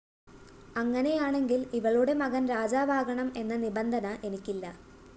അങ്ങനെയാണെങ്കില്‍ ഇവളുടെ മകന്‍ രാജാവാകണം എന്ന നിബന്ധന എനിക്കില്ല